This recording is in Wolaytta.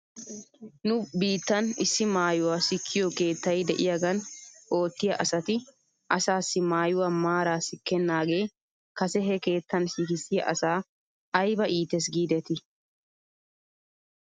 Nu biittan issi maayuwaa sikkiyoo keettay de'iyaagan oottiyaa asati asaassi maayuwaa maara sikkenaagee kase he keettan sikissiyaa asaa ayba iites giidetii!